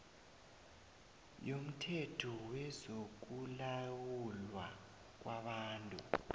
yomthetho wezokulawulwa kwabantu